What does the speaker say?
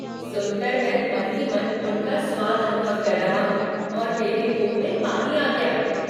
सुनकर मैं मन ही मन उनका स्वाद अनुभव कर रहा हूँ और मेरे मुँह में पानी आ गया।